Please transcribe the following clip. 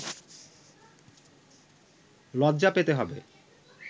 লজ্জা পেতে হবে